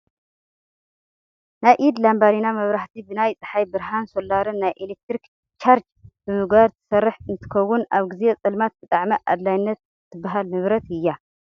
ናይ ኢድ ላባዲና መብራህቲ ብናይ ፀሓይ ብርሃን ሶላርን ናይ ኤሌክትሪክ ቻርች ብምግባር ትሰርሕ እንትከውን፣ ኣብ ግዜ ፀልማት ብጣዕሚ ኣድላይት ትባሃል ንብረት እያ።